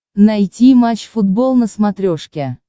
найти матч футбол на смотрешке